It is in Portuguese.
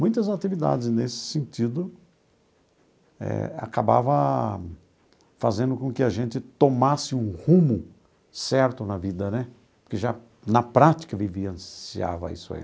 Muitas atividades nesse sentido eh acabava fazendo com que a gente tomasse um rumo certo na vida né, porque já na prática vivenciava isso aí.